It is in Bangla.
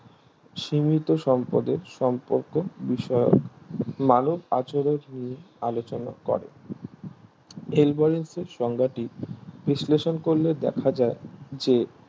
সীমিত সম্পদের সম্পর্ক বিষয়ক মানব আচরণ নিয়ে আলোচনা করে আলভরেস্টের সংজ্ঞাটি বিশ্লেষণ করলে দেখা যায় যে